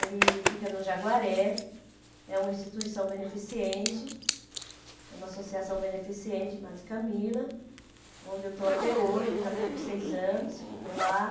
Ele fica no Jaguaré, é uma instituição beneficente, é uma associação beneficente, onde eu estou até hoje, já estou com seis anos, que estou lá.